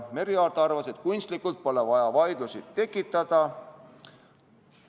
Merry Aart arvas, et kunstlikult pole vaja vaidlusi tekitada.